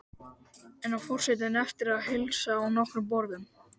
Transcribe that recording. Enn á forseti eftir að heilsa á nokkrum borðum.